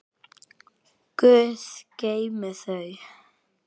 Guð geymi þau.